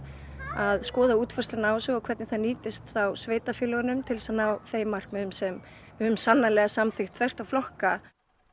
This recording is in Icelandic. að skoða útfærsluna á þessu og hvernig það nýtist sveitarfélögunum til að ná þeim markmiðum sem við höfum sannarlega samþykkt þvert á flokka